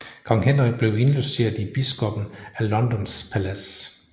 Kong Henrik blev indlogeret i biskoppen af Londons palads